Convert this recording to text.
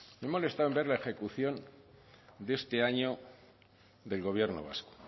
me he molestado en ver la ejecución de este año del gobierno vasco